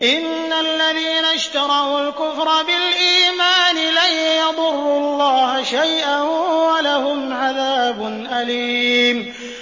إِنَّ الَّذِينَ اشْتَرَوُا الْكُفْرَ بِالْإِيمَانِ لَن يَضُرُّوا اللَّهَ شَيْئًا وَلَهُمْ عَذَابٌ أَلِيمٌ